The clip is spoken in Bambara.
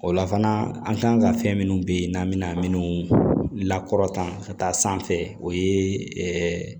O la fana an kan ka fɛn minnu bɛ yen n'an bɛna minnu lakɔrɔntan ka taa sanfɛ o ye